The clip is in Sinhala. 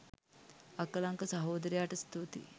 අකලංක සහෝදරයාට ස්තූතියි